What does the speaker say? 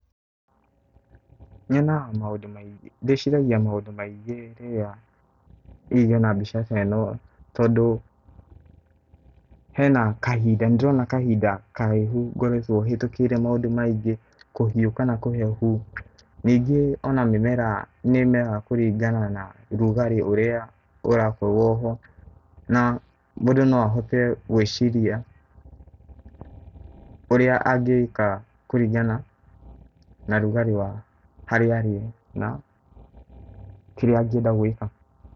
Nyonaga maũndũ mai, ndĩciragia maũndũ maingĩ rĩrĩa hihi ndona mbica taĩno tondũ hena kahinda, nĩndĩrona kahinda karaihu ngoretwo hĩtũkĩire maũndũ maingĩ, kũhiũka na kũhehu, ningĩ ona mĩmera nĩ ĩmeraga kũringana na ũrugarĩ ũrĩa ũrakorwo ho na mũndũ no ahote gũĩciria ũrĩa angĩka kũringana na rugarĩ wa harĩa arĩ na kĩrĩa angĩenda gũĩka.